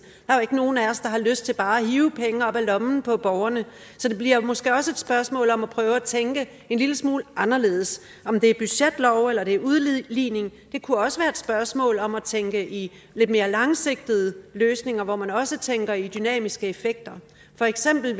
er jo ikke nogen af os der har lyst til bare at hive penge op af lommen på borgerne så det bliver måske også et spørgsmål om at prøve at tænke en lille smule anderledes om det er budgetlov eller det er udligning kunne også være et spørgsmål om at tænke i lidt mere langsigtede løsninger hvor man også tænker i dynamiske effekter for eksempel